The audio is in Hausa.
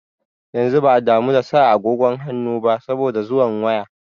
Yanzu ba a damu da sa agogon hannu ba saboda zuwan waya.